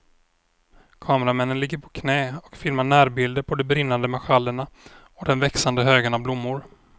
Kameramännen ligger på knä och filmar närbilder på de brinnande marschallerna och den växande högen av blommor.